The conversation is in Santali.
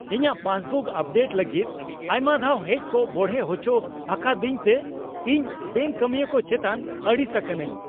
ᱤᱧᱟᱹᱜ ᱯᱟᱥᱵᱩᱠ ᱟᱯᱰᱮᱴ ᱞᱟᱹᱜᱤᱫ ᱟᱭᱢᱟ ᱫᱷᱟᱣ ᱦᱮᱡ ᱠᱚ ᱵᱚᱲᱦᱮ ᱦᱚᱪᱚ ᱟᱠᱟᱫᱤᱧᱛᱮ ᱤᱧ ᱵᱮᱝᱠ ᱠᱟᱢᱤᱭᱟᱹ ᱠᱚ ᱪᱮᱛᱟᱱ ᱟᱹᱲᱤᱥ ᱟᱠᱟᱱᱟ.ᱧ ᱾